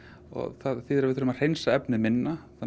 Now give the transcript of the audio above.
það þýðir að við þurfum að hreinsa efnið minna þannig